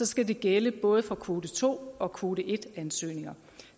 skal det gælde både for kvote to og kvote en ansøgninger